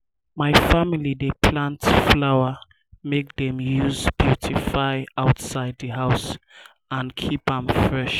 my family dey plant flower make dem use beautify outside di house and keep am fresh.